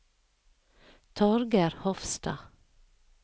Torger Hofstad